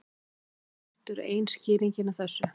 Greiðslukort eru ein skýringin á þessu.